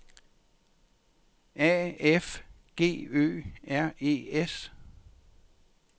A F G Ø R E S